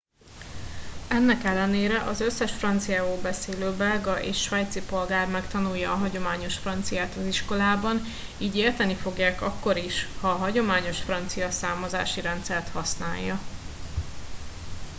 ennek ellenére az összes franciául beszélő belga és svájci polgár megtanulja a hagyományos franciát az iskolában így érteni fogják akkor is ha a hagyományos francia számozási rendszert használja